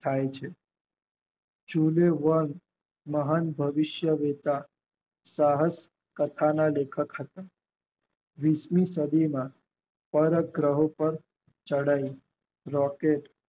થાય છે. ચૂગે વેન મહાન ભવિષ્ય રેતા સહર્ષ કથાના લેખક હતા વિધુત કડીના પાર ગ્રહો ચડાઈ રોકેટ